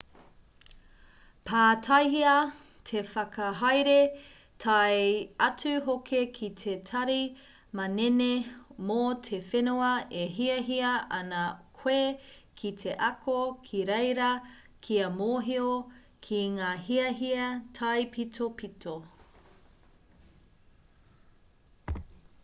pātaihia te whakahaere tae atu hoki ki te tari manene mō te whenua e hiahia ana koe ki te ako ki reira kia mōhio ki ngā hiahia taipitopito